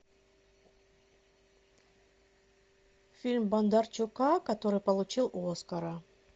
фильм бондарчука который получил оскара